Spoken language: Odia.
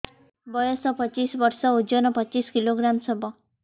ବୟସ ପଚିଶ ବର୍ଷ ଓଜନ ପଚିଶ କିଲୋଗ୍ରାମସ ହବ